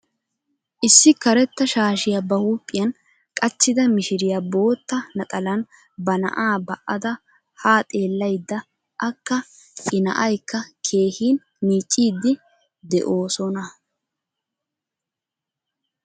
Issi karetta shaashiya ba huuphiyan qachchida mishiriyaa bootta naxalan ba na'aa ba"ada haa xeellayida akka I na'aykka keehin miicciiddi de'oosona.